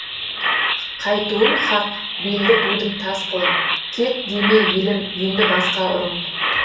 қайтуым хақ белді будым тас қылып кет деме елім енді басқа ұрып